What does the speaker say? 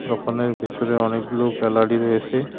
দোকানের ভিতরে অনেকগুলো গ্যালারি রয়েসে।